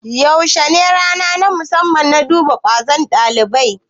Yaushe ne rana ta musamman na duba ƙwazon dabibai?